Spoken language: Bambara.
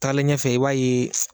Taalen ɲɛfɛ i b'a yee